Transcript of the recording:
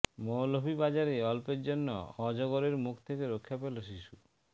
মৌলভীবাজারে অল্পের জন্য অজগরের মুখ থেকে রক্ষা পেল শিশু